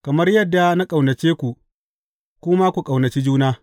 Kamar yadda na ƙaunace ku, ku ma ku ƙaunaci juna.